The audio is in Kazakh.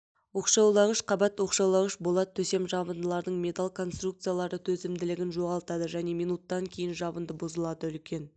оқшаулағыш қабат оқшаулағыш болат төсем жабындылардың металл конструкциялары төзімділігін жоғалтады және минуттан кейін жабынды бұзылады үлкен